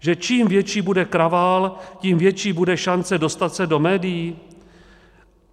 Že čím větší bude kravál, tím větší bude šance dostat se do médií?